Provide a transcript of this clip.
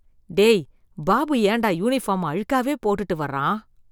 டேய், பாபு ஏண்டா யூனிஃபார்ம அழுக்காவே போட்டுட்டு வர்றான்?